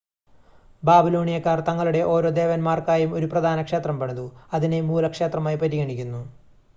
ബാബിലോണിയക്കാർ തങ്ങളുടെ ഓരോ ദേവന്മാർക്കായും ഒരു പ്രധാന ക്ഷേത്രം പണിതു അതിനെ മൂല ക്ഷേത്രമായി പരിഗണിക്കുന്നു